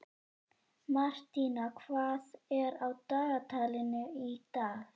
Martína, hvað er á dagatalinu í dag?